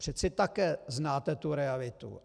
Přece také znáte tu realitu.